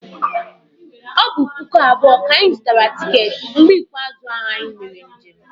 O bu puku abuo ka anyi zutara ticket mgbe ikpeazu anyi mere njem